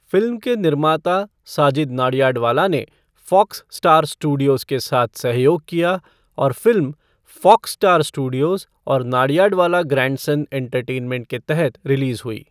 Film के निर्माता साजिद नाडियाडवाला ने फ़ॉक्स स्टार स्टूडियोज़ के साथ सहयोग किया और फ़िल्म फ़ॉक्स स्टार स्टूडियोज़ और नाडियाडवाला ग्रैंडसन एंटरटेनमेंट के तहत रिलीज़ हुई।